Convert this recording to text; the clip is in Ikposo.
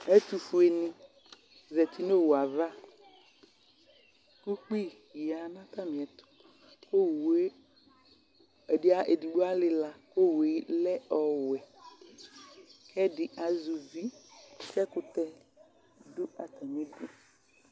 Ɛtʋ funi zati nʋ owʋ ava kʋ ʋkpi yanʋ atami ɛtʋ kʋ edigbo alila kʋ owʋ lɛ ɔwɛ kʋ ɛdi azɛ ʋvi kʋ ɛkʋtɛ dʋ atami idʋ